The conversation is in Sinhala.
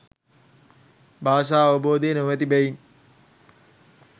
භාෂාවබෝධය නොමැති බැවින්